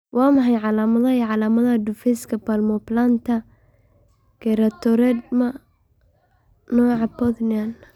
Waa maxay calaamadaha iyo calaamadaha Difffuseka palmoplantar keratoderma, nooca Bothnian?